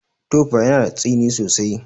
Tofa yana da tsini sosai.